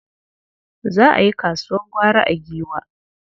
Za a yi kasuwar gwari a Giwa.